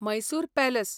Mysore palace